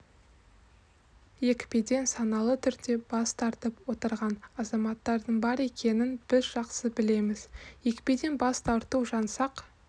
екпеден саналы түрде бас тартып отырған азаматтардың бар екенін біз жақсы білеміз екпеден бас тарту жаңсақ